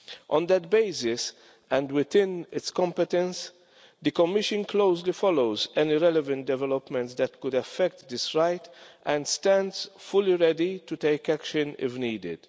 On that basis, and within its competence, the Commission closely follows any relevant developments that could affect this right, and it stands fully ready to take action if needed.